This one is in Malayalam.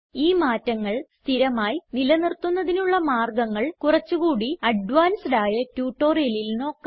ഈ മാറ്റങ്ങൾ സ്ഥിരമായി നിലനിർത്തുന്നതിനുള്ള മാർഗങ്ങൾ കുറച്ച് കൂടി അഡ്വാൻസ്ഡ് ആയ ട്യൂട്ടോറിയലിൽ നോക്കാം